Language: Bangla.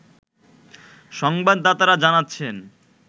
সংবাদাতারা জানাচ্ছেন